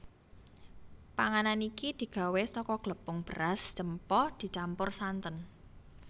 Panganan iki digawé saka glepung beras cempa dicampur santen